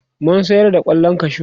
mun sayar da kwallon kwashu